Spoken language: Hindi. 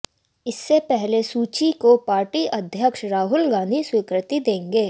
इसके पहले सूची को पार्टी अध्यक्ष राहुल गांधी स्वीकृति देंगे